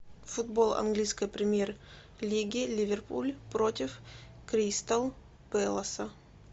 футбол английской премьер лиги ливерпуль против кристал пэласа